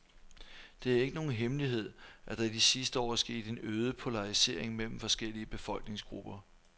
Det er ikke nogen hemmelighed, at der i de sidste år er sket en øget polarisering mellem forskellige befolkningsgrupper.